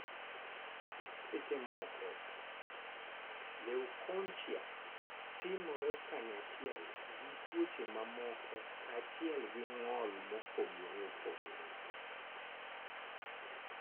Seche moko, leukonychia timore kanyachiel gi tuoche mamoko kachiel gi ngol mopogore opogore.